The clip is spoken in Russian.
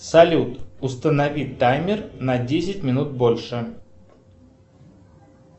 салют установи таймер на десять минут больше